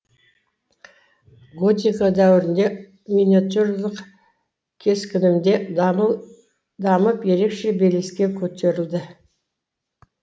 готика дәуірінде миниатюралық кескіні де дамып ерекше белеске көтерілді